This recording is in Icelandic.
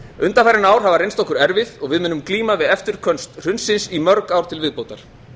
undanfarin ár hafa reynst okkur erfið og við munum glíma við eftirköst hrunsins í mörg ár til viðbótar